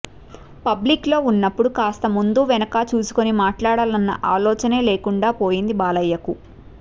పబ్లిక్లో ఉన్నప్పుడు కాస్త ముందు వెనక చూసుకుని మాట్లాడాలన్న ఆలోచనే లేకుండా పోతోంది బాలయ్యకు